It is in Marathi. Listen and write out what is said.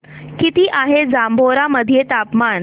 किती आहे जांभोरा मध्ये तापमान